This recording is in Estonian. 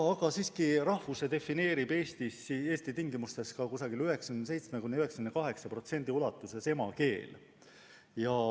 Aga siiski, rahvuse defineerib Eesti tingimustes umbes 97–98% ulatuses emakeel.